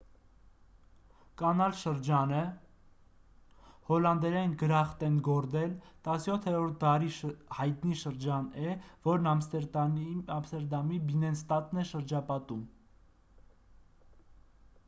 կանալ շրջանը հոլանդերեն` գրախտենգորդել 17-րդ դարի հայտնի շրջան է որն ամստերդամի բիննենստադն է շրջապատում: